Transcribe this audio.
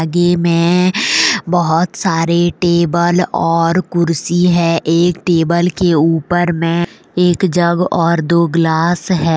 गी में बहोत सारे टेबल और कुर्सी है एक टेबल के ऊपर में एक जग और दो गिलास है।